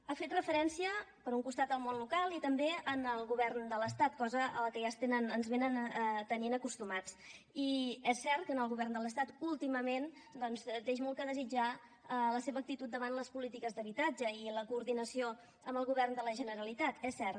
ha fet referència per un costat al món local i també al govern de l’estat cosa a la que ja ens tenen acostumats i és cert que el govern de l’estat últimament doncs deixa molt a desitjar en la seva actitud davant les polítiques d’habitatge i la coordinació amb el govern de la generalitat és cert